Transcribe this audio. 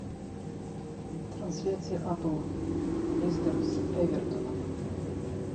трансляция апл лестер с эвертоном